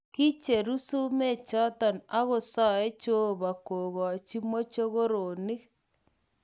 "Kicheru sumek choton akosoe jeobo kokocho mochokoronik.